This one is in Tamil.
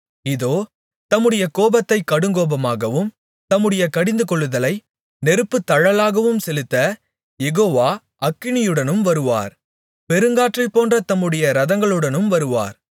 இதோ தம்முடைய கோபத்தை கடுங்கோபமாகவும் தம்முடைய கடிந்துகொள்ளுதலை நெருப்புத்தழலாகவும் செலுத்தக் யெகோவா அக்கினியுடனும் வருவார் பெருங்காற்றைப்போன்ற தம்முடைய இரதங்களுடனும் வருவார்